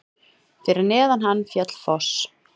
Fyrir neðan hann féll foss.